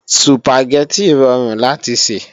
Sùpàgẹ́tì rọrùn láti sè